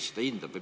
Kes seda hindab?